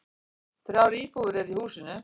Þrjár íbúðir eru í húsinu.